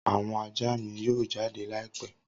Awọn aja mi yoo jade laipẹ.